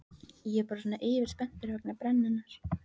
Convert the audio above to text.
Ég er bara svona yfirspenntur vegna brennunnar.